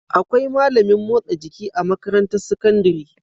Akwai malamin motsa jiki a makarantar sakandari